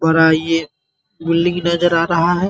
हो रहा है ये बिल्डिंग नजर आ रहा है ।